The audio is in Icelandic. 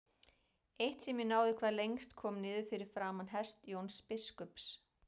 Eitt sem náði hvað lengst kom niður fyrir framan hest Jóns biskups.